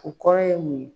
O kɔrɔ ye mun ye